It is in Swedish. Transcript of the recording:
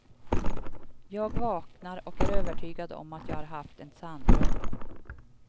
Jag vaknar och är övertygad om att jag har haft en sanndröm.